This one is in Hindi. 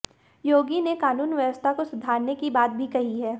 योगी ने कानून व्यवस्था को सुधारने की बात भी कही है